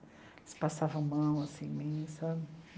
Eles passavam mão assim em mim sabe?